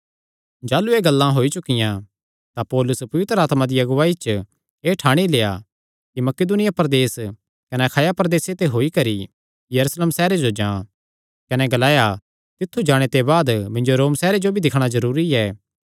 जाह़लू एह़ गल्लां होई चुकियां तां पौलुसे पवित्र आत्मा दिया अगुआईया च एह़ ठाणी लेआ कि मकिदुनिया प्रदेस कने अखाया प्रदेसे ते होई करी यरूशलेम सैहरे जो जां कने ग्लाया तित्थु जाणे ते बाद मिन्जो रोम सैहरे जो भी दिक्खणा जरूरी ऐ